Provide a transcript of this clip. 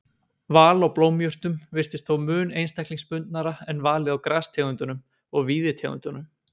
Val á blómjurtum virðist þó mun einstaklingsbundnara en valið á grastegundum og víðitegundum.